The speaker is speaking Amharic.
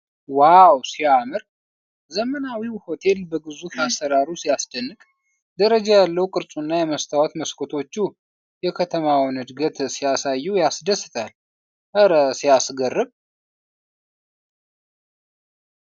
ዋው ሲያምር ! ዘመናዊው ሆቴል በግዙፍ አሠራሩ ሲያስደንቅ ! ደረጃ ያለው ቅርጹና የመስታወት መስኮቶቹ የከተማውን እድገት ሲያሳዩ ያስደስታል ! እረ ሲያስገርም!